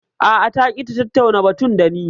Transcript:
A'a ta ƙi ta tattauna batun dani